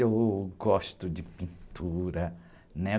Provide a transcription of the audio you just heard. Eu gosto de pintura, né?